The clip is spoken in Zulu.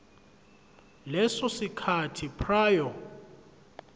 leso sikhathi prior